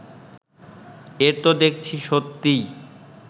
এ তো দেখছি সত্যিই